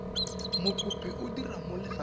mokopi o dira mo lefapheng